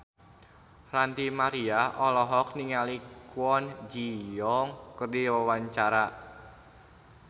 Ranty Maria olohok ningali Kwon Ji Yong keur diwawancara